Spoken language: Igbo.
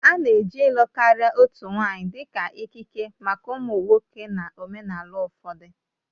A na-eji ịlụ karịa otu nwanyị dị ka ikike maka ụmụ nwoke na omenala ụfọdụ